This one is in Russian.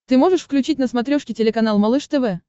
ты можешь включить на смотрешке телеканал малыш тв